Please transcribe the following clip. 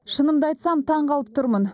шынымды айтсам таңқалып тұрмын